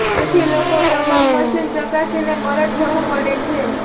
તેથી લોકો તમામ મશીન ચકાસીને પરત જવું પડે છે